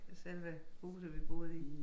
Selve huset vi boede i